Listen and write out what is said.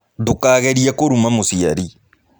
Ndũkagerie kũruma mũciari.